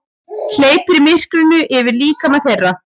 Hleypir myrkrinu yfir líkama þeirra.